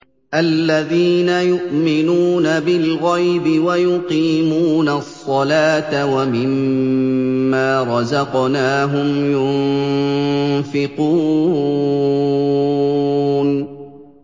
الَّذِينَ يُؤْمِنُونَ بِالْغَيْبِ وَيُقِيمُونَ الصَّلَاةَ وَمِمَّا رَزَقْنَاهُمْ يُنفِقُونَ